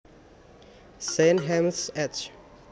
Zein Hasjmy Ec